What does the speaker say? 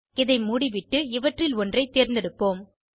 இதை மூடிவிட்டு இவற்றில் ஒன்றைத் தேர்ந்தெடுப்போம்